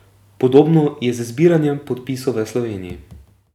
Podobno je z zbiranjem podpisov v Sloveniji.